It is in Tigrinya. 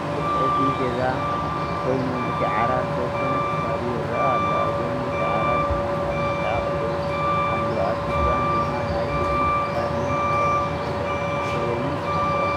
እዚ መደቀሲ ገዛ ኮይኑ እቲ ዓራት ዝተወሰነ ክፋሉ ይረአ አሎ አብ ጎኒ እቲ ዓራት ድማ መቅመጢ አቁሑ አሎ አብቲ ዝባን ድማ ናይ ኢድ ቅርን ናይ ፎቶ ፍሬምን አሎ፡፡